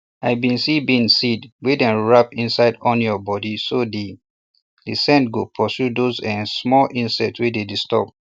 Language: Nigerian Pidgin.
i bin see bean seed wey dem wrap inside onion body so de de scent go pursue those um small insect wey dey disturb